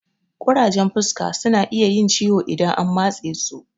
Ƙurajen fuska suna iya yin ciwo idan an matse su